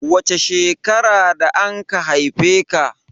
Wace shekara da anka haife ka?